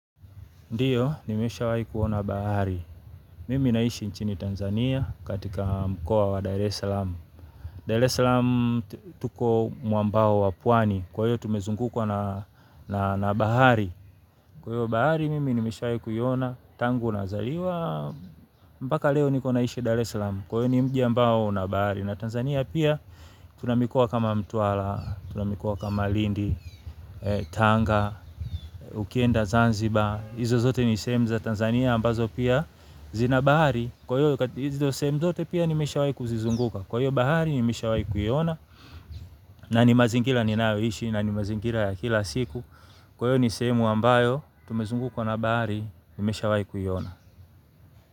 Ndiyo, nimeshawahi kuona bahari. Mimi naishi nchini Tanzania katika mkoa wa Dar es Salaam. Dar es Salaam tuko mwambao wa pwani. Kwahiyo tumezungukwa na bahari. Kwahiyo bahari, mimi nimeshawahi kuiona. Tangu nazaliwa mpaka leo niko naishi Dar es Salaam. Kwahiyo ni mji ambao una bahari. Na Tanzania pia, tuna mikoa kama mtwara, tuna mikoa kama lindi, tanga, ukienda, zanzibar. Izo zote ni sehemu za Tanzania ambazo pia zina bahari. Kwahiyo hizo sehemu zote pia nimeshawahi kuzizunguka. Kwahiyo bahari nimeshawahi kuiona. Na ni mazingira ninayoishi na ni mazingira ya kila siku. Kwahiyo ni sehemu ambayo tumezungukwa na bahari nimeshawahi kuiona.